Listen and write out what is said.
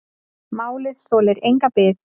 Málið þolir enga bið.